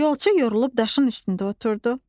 Yolçu yorulub daşın üstündə oturdu.